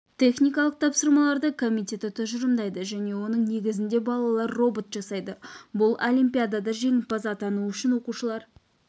техникалық тапсырмаларды комитеті тұжырымдайды және оның негізінде балалар робот жасайды бұл олимпиадада жеңімпаз атану үшін оқушылар